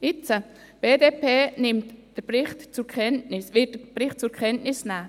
Jetzt wird die BDP den Bericht zur Kenntnis nehmen.